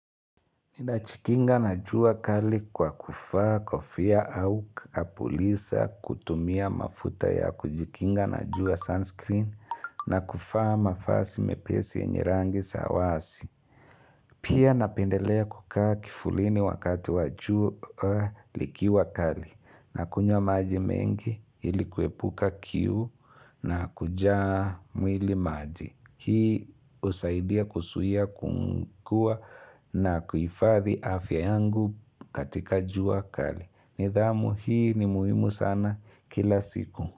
Ninajikinga na jua kali kwa kuvaa, kofia au kapulisa kutumia mafuta ya kujikinga na jua sunscreen na kuvaa mavazi mepesi yenye rangi za wazi. Pia napendelea kukaa kivulini wakati wajua likiwa kali na kunywa maji mengi ilikuepuka kiu na kuja mwili maji. Hii husaidia kuzuia kukua na kuhifadhi afya yangu katika jua kali. Nidhamu hii ni muhimu sana kila siku.